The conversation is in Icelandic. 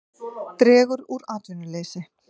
Dregur úr atvinnuleysi